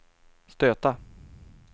stöta